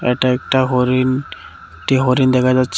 এটা একটা হরিণ তে হরিণ দেখা যাচ্ছে--।